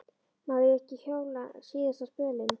Má ég ekki hjóla síðasta spölinn?